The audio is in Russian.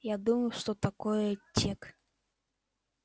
я думаю что такое тёк